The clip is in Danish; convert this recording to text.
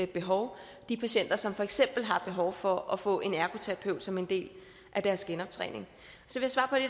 behov de patienter som for eksempel har behov for at få en ergoterapeut som en del af deres genoptræning så